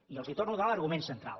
i els torno a donar l’argument central